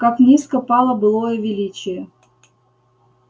как низко пало былое величие